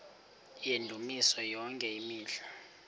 yendumiso yonke imihla